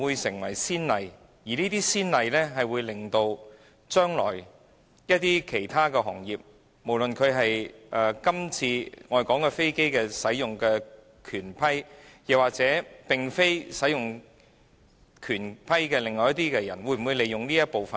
這會否成為先例，導致今後其他行業，無論是今次討論所涉及的飛機使用權或飛機使用權以外的一些行業，也可利用這一部分條文呢？